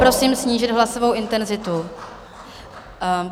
Prosím snížit hlasovou intenzitu.